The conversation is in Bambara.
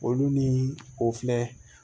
Olu ni o filɛ